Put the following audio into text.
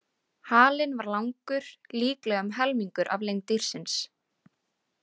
Halinn var langur, líklega um helmingurinn af lengd dýrsins.